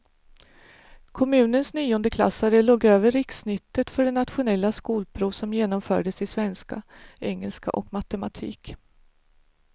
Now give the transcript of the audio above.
Kommunens niondeklassare låg över rikssnittet för det nationella skolprov som genomfördes i svenska, engelska och matematik.